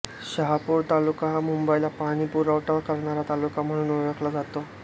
शहापूर तालुका हा मुंबईला पाणी पुरवठा करणारा तालुका म्हणून ओळखला जातो